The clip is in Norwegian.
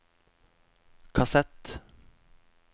kassett